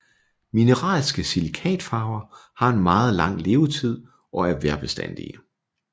Mineralske silikatfarver har en meget lang levetid og er vejrbestandige